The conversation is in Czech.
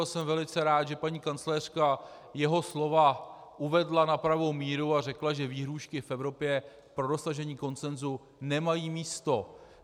A jsem velice rád, že paní kancléřka jeho slova uvedla na pravou míru a řekla, že výhrůžky v Evropě pro dosažení konsenzu nemají místo.